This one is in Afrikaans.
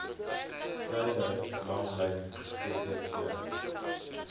treiler langlyn ttv